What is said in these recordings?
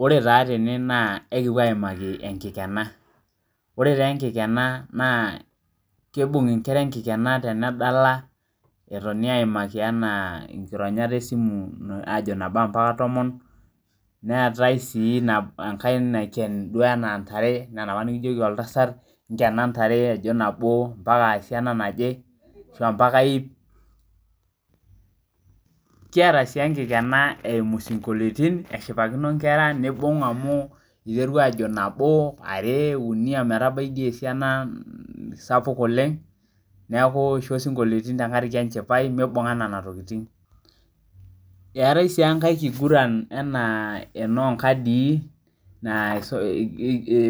Ore taa tene naa ekipuo aimaki enkikena .Ore taa enkikena naa kubung nkera enkikena tenedala eton aimaki nkironyat esimu enaa ajo nabo mpaka tomon, neetae sii enkae enaa enaiken ntare enaa enapa nikijoki oltasat nkena ntare ajo nabo mpaka mpaka esiana naje ,ashu mpaka iip. Kiata sii enkikena eimu sinkoliotin eshipakino nkera nibungita amu eiteru ajo nabo, are ,uni ometabai doi esiana sapuk oleng, neeku eisho sinkolioitin tenkaraki enchipai meibungan nena tokiting .Eetae sii enkae kiguran enaa enoonkadii, naa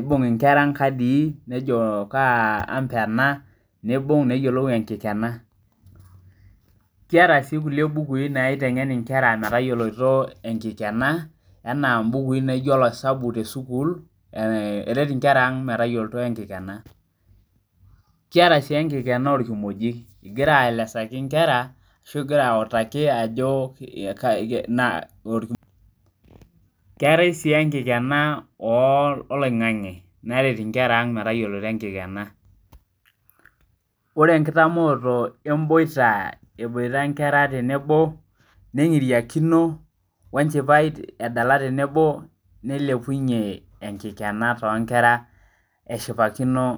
kubung nkera nkadii nejo kaa ampa ena nibung neyiolou enkikena. Kiata sii nkulie bukui naitengen nkera matayioloito enkikena, enaa mbukui naijo oloisabu tesukuul, eret nkera ang metayiolito enkikena. Kiata sii enkikena orkimojik ingira aelesa nkera, ashu ingira autaki. Keetae sii enkikena oloingange neret nkera ang matayiolo enkikena .Ore enkitamooto emboita emboita nkera tenebo, nengiriakino wenchipai edala tenebo, nilepunye enkikena toonkera eshipakino.